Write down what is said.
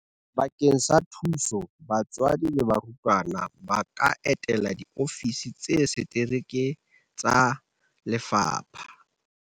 Bakeng sa thuso batswadi le barutwana ba ka etela diofisi tsa setereke tsa lefapha.